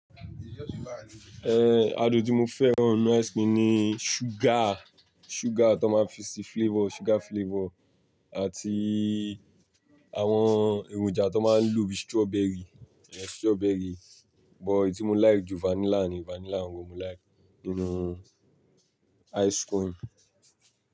Eh, adùn tí mo fẹ́ran nínú ice cream ni sugar, sugar tó máa ń fi ṣe flavor, sugar flavor àti àwọn èròjà tó máa ń lò bí strawberry, strawberry. But tí mo like jù vanilla ni, vanilla gangan mo like nínú ice cream.